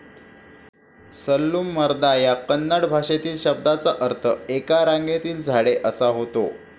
सल्लूमरदा या कन्नड भाषेतील शब्दाचा अर्थ 'एका रांगेतील झाडे ' असा होतो.